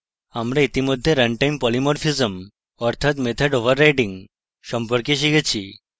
আমরা ইতিমধ্যে runtime polymorphism অর্থাৎ method overriding সম্পর্কে শিখেছি